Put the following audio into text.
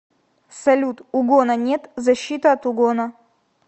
салют угона нет защита от угона